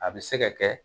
A bɛ se ka kɛ